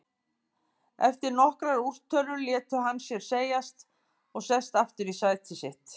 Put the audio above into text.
Eftir nokkrar úrtölur lætur hann sér segjast og sest aftur í sæti sitt.